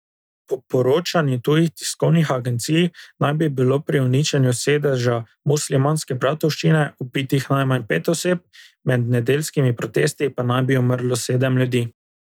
Po poročanju tujih tiskovnih agencij naj bi bilo pri uničenju sedeža Muslimanske bratovščine ubitih najmanj pet oseb, med nedeljskimi protesti pa naj bi umrlo sedem ljudi.